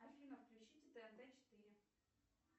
афина включите тнт четыре